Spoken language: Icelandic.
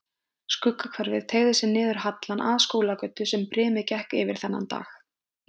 Skuggahverfið teygði sig niður hallann að Skúlagötu sem brimið gekk yfir þennan dag.